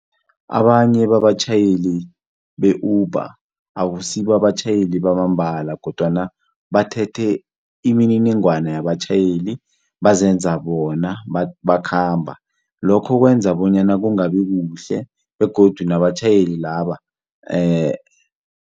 Abanye babatjhayeli be-Uber akusibo abatjhayeli bamambala kodwana bathethe imininingwana yabatjhayeli bazenza bona bakhamba lokho kwenza bonyana kungabi kuhle begodu nabatjhayeli laba